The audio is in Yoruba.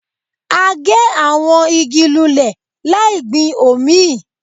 A gé àwọn igi lulẹ̀ láì gbin òmíì